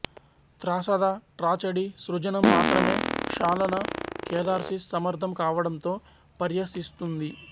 త్రాసద tragedy సృజనం మాత్రమే క్షాళన కెధార్సిస్ సమర్ధం కావడంలో పర్య్వసిస్తుంది